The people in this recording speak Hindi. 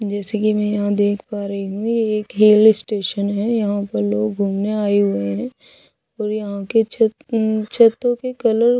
जैसे की में यहाँ देख पा रही हूँ हिल स्टेशन है यहाँ पर लोग गुमने आये हुए है और यहाँ के छत छतो हम्म के कलर कुछ --